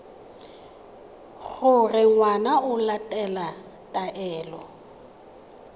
gore ngwana o latela taelo